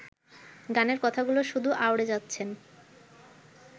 গানের কথাগুলো শুধু আউড়ে যাচ্ছেন